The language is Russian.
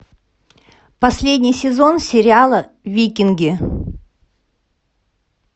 последний сезон сериала викинги